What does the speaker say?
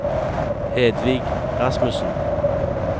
Hedvig Rasmussen